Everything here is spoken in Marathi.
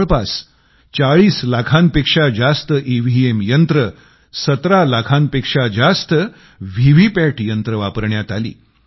जवळपास 40 लाखांपेक्षा जास्त ईव्हीएम यंत्रे 17 लाखांपेक्षा जास्त व्हीव्हीपॅट यंत्रे वापरण्यात आली